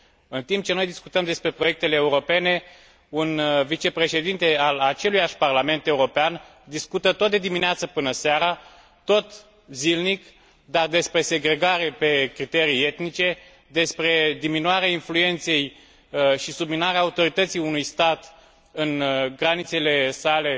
În timp ce noi discutăm despre proiectele europene un vicepreședinte al aceluiași Parlament European discută tot de dimineață până seara, tot zilnic, dar despre segregarea pe criterii etnice, despre diminuarea influenței și subminarea autorității unui stat în granițele sale